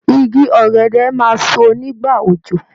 Igi ọ̀gẹ̀dẹ̀ máa so ní ìgbà òjò.